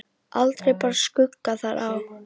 Aldrei bar skugga þar á.